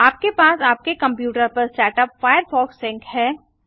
आपके पास आपके कंप्यूटर पर सेटअप फायरफॉक्स सिंक है